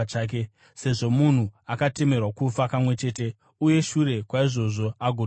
Sezvo munhu akatemerwa kufa kamwe chete uye shure kwaizvozvo agotongwa,